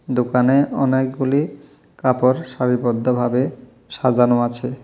দোকানে অনেকগুলি কাপড় সারিবদ্ধভাবে সাজানো আছে।